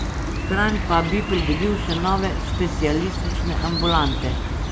Kranj pa bi pridobil še nove specialistične ambulante.